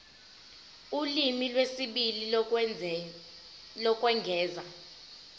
ulimi lwesibili lokwengeza